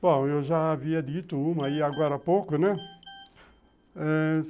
Bom, eu já havia dito uma agora há pouco, né?